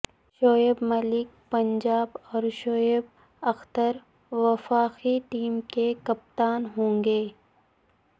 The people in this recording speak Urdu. شعیب ملک پنجاب اور شعیب اختر وفاقی ٹیم کے کپتان ہوں گے